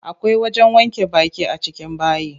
Akwai wajen wanke baki a cikin bayi.